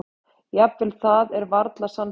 Jafnvel það er varla sannfærandi.